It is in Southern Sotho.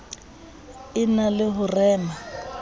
e na le ho rema